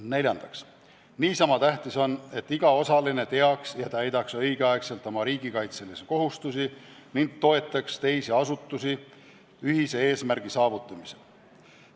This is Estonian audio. Neljandaks, niisama tähtis on, et iga osaline teaks ja täidaks õigeaegselt oma riigikaitselisi kohustusi ning toetaks teisi asutusi ühise eesmärgi saavutamisel.